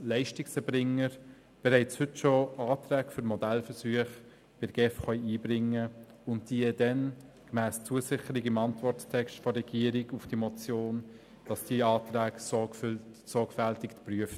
Leistungserbringer können bereits heute Anträge für Modellversuche bei der GEF einbringen, und diese werden dann gemäss Zusicherung im Antworttext der Regierung zur Motion sorgfältig geprüft.